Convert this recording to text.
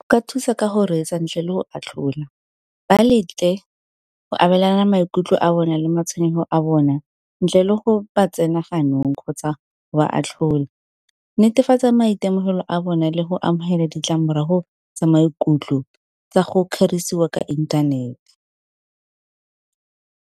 O ka thusa ka go retsa ntle le go atlhola, ba letle go abelana maikutlo a bona le matshwenyego a bona ntle le go ba tsena ganong kgotsa go ba atlhola. Netefatsa maitemogelo a bone le go amogela ditlamorago tsa maikutlo tsa go kgerisiwa ka inthanete.